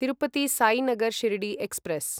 Tirupati Sainagar Shirdi express